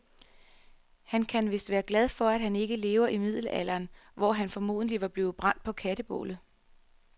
Han kan vist være glad for, at han ikke lever i middelalderen, hvor han formodentlig var blevet brændt på kætterbålet.